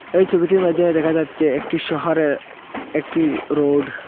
এই ছবিটির মাইধ্যমে দেখা যাচ্ছে একটি শহরের একটি রোড ।